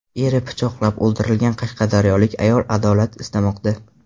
Eri pichoqlab o‘ldirilgan qashqadaryolik ayol adolat istamoqda.